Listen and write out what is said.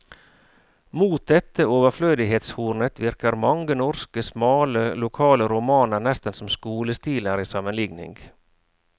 Mot dette overflødighetshornet virker mange norske, smale, lokale romaner nesten som skolestiler i sammenlikning.